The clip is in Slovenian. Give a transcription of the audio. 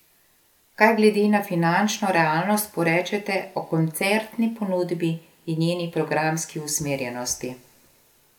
Kaj glede na finančno realnost porečete o koncertni ponudbi in njeni programski usmerjenosti?